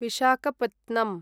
विसखपत्नं